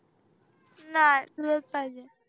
नाही तुझंच पाहिजे